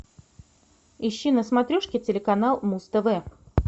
ищи на смотрешке телеканал муз тв